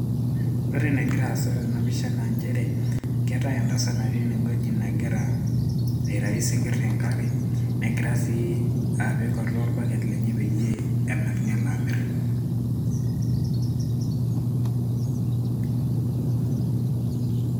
ore ena gira aasa tena pisha naa entasat nagira aitau isingir tengare, negira sii apik atua orbaket lenye pee enap nelo amir.